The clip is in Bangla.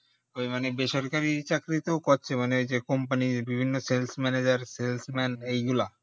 বেসরকরি চাকরি তেও করছে মানে যে company র বিভিন্ন sales manager sales men এই গুলা